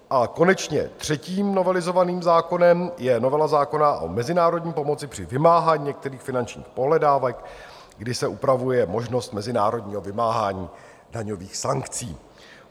A konečně třetím novelizovaným zákonem je novela zákona o mezinárodní pomoci při vymáhání některých finančních pohledávek, kdy se upravuje možnost mezinárodního vymáhání daňových sankcí.